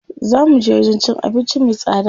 Zaa muje wajen cin abinci me tsada.